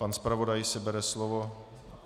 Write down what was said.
Pan zpravodaj si bere slovo.